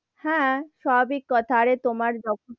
হাঁ, সাভাবিক কথা আরে তোমার যখন,